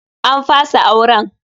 An fasa auren.